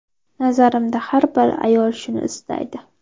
Nazarimda har bir ayol shuni istaydi”.